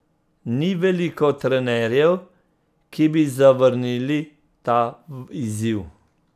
Ni veliko trenerjev, ki bi zavrnili ta izziv.